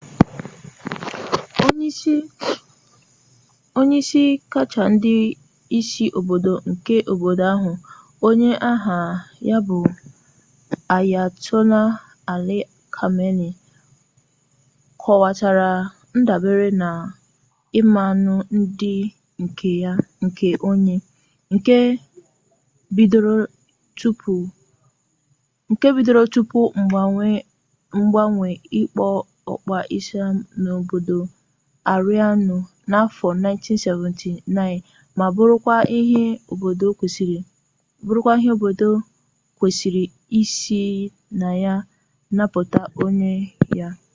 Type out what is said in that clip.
onye isi kacha ndị isi obodo nke obodo ahụ onye aha ya bụ ayatollah ali khamenei kọwatara ndabere na mmanụ dị ka ọnya nke bidoro tupu mgbanwe okpukpe islam n'obodo aịraanụ n'afọ 1979 ma bụrụkwa ihe obodo kwesịrị isi na ya napụta onwe ya